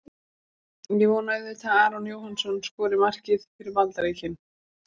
Ég vona auðvitað að Aron Jóhannsson skori markið fyrir Bandaríkin.